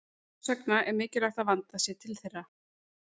Þess vegna er mikilvægt að vandað sé til þeirra.